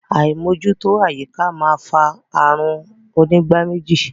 Àímójútó àyíká máa fa ààrùn onígbáméjì.